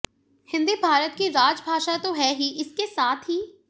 हिंदी भारत की राजभाषा तो है ही इसके साथ ही